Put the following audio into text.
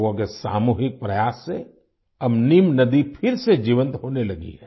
लोगों के सामूहिक प्रयास से अब नीम नदी फिर से जीवंत होने लगी है